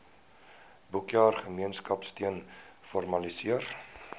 boekjaar gemeenskapsteun formaliseer